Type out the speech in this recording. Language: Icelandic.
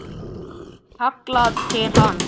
Það er kallað til hans.